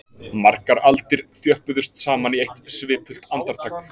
Margar aldir þjöppuðust saman í eitt svipult andartak